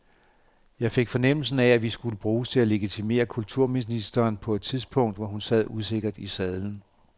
Jeg fik fornemmelsen af, at vi skulle bruges til at legitimere kulturministeren på et tidspunkt, hvor hun sad usikkert i sadlen.